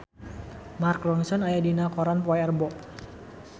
Mark Ronson aya dina koran poe Rebo